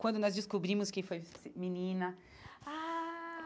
Quando nós descobrimos que foi menina ah.